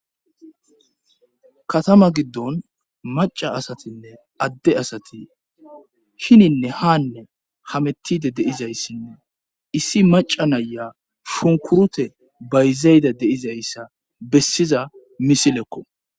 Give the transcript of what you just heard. katama giddon maca asatinne adde asati hininne haanne hamettide de'izayssinne issi maca naya shunkurute bayzayda de'izayssa bessiza misilekko